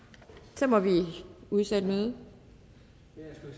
så må vi udsætte mødet